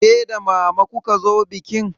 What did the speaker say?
Ke da mama kuka zo bikin?